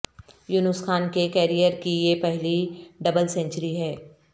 یونس خان کے کیرئیر کی یہ پہلی ڈبل سنچری ہے